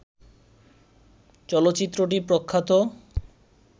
চলচ্চিত্রটি প্রখ্যাত